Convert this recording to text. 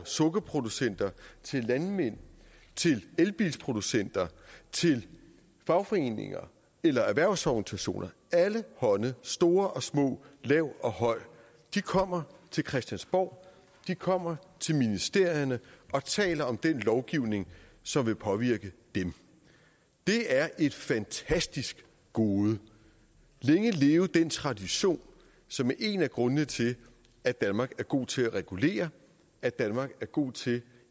sukkerproducenter landmænd elbilsproducenter til fagforeninger eller erhvervsorganisationer alle hånde store og små lav og høj kommer til christiansborg kommer til ministerierne og taler om den lovgivning som vil påvirke dem det er et fantastisk gode længe leve den tradition som er en af grundene til at danmark er god til at regulere at danmark er god til